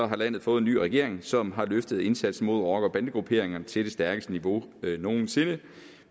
har landet fået en ny regering som har løftet indsatsen mod rocker bande grupperinger til det stærkeste niveau nogen sinde